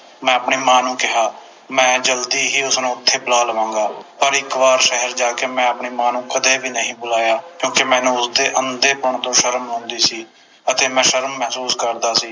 ਮੈਂ ਆਪਣੀ ਮਾਂ ਨੂੰ ਕਿਹਾ ਮੈਂ ਜਲਦੀ ਹੀ ਉਸਨੂੰ ਉਥੇ ਬੁਲਾ ਲਵਾਂਗਾ ਪਰ ਇਕ ਵਾਰ ਸ਼ਹਿਰ ਜਾ ਕੇ ਮੈਂ ਆਪਣੀ ਮਾਂ ਨੂੰ ਕਦੇ ਨਹੀਂ ਬੁਲਾਇਆ ਕਿਉਕਿ ਮੈਨੂੰ ਉਸਦੇ ਅੰਧੇਪੰਨ ਤੋਂ ਸ਼ਰਮ ਆਉਂਦੀ ਸੀ ਅਤੇ ਮੈਂ ਸ਼ਰਮ ਮਹਿਸੂਸ ਕਰਦਾ ਸੀ